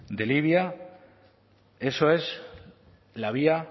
de libia eso es la vía